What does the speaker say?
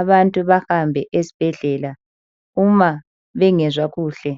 abantu bahambe esibhedlela uma bengezwa kuhle.